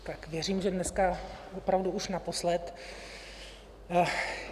Tak věřím, že dneska opravdu už naposled.